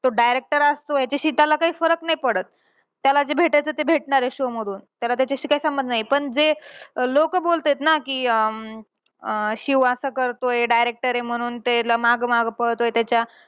तो director आहे, तो याच्याशी त्याला काही फरक नाही पडत. त्याला जे भेटायचं ते भेटणार आहे show मधून. त्याला त्याच्याशी काही संबंध नाही. पण जे अं लोकं बोलतायेत ना कि अं अं शिव असं करतोय director आहे म्हणून त्याला मागं मागं पळतोय त्याच्या.